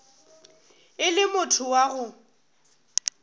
e le motho wa go